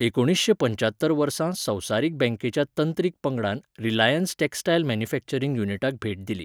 एकुणीसशें पंच्यात्तर वर्सा संवसारीक बँकेच्या तंत्रीक पंगडान 'रिलाएन्स टॅक्सटायल मॅन्यूफेक्चरींग युनिटाक भेट दिली.